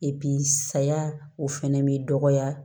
saya o fɛnɛ bɛ dɔgɔya